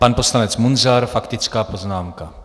Pan poslanec Munzar faktická poznámka.